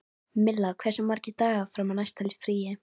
Milla, hversu margir dagar fram að næsta fríi?